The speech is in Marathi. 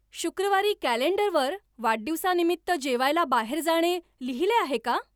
शुक्रवारी कॅलेंडरवर वाढदिवसानिमित्त्त जेवायला बाहेर जाणे लिहिले आहे का